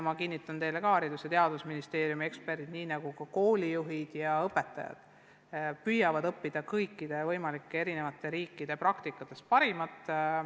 Ma kinnitan teile, et Haridus- ja Teadusministeeriumi eksperdid, samuti koolijuhid ja õpetajad püüavad üle võtta erinevate riikide praktikatest parimat.